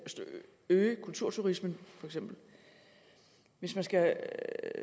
øge kulturturismen hvis man skal